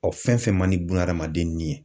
Ɔ fɛn fɛn man di buna adamaden ni ye.